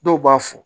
Dɔw b'a fɔ